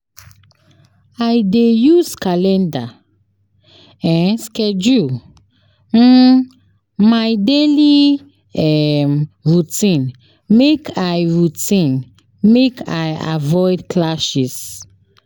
I dey use calendar [um]schedule[um] my daily um routine make I routine make I avoid clashes.